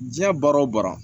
Diɲɛ baara o baara